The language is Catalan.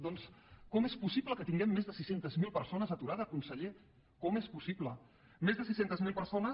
doncs com és possible que tinguem més de sis cents miler persones aturades consellera com és possible més de sis cents miler persones